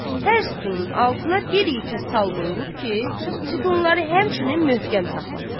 Hər sütunun altına bir yekə sal qoyulub ki, sütunları həmçinin möhkəm saxlasın.